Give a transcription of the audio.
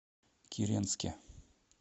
киренске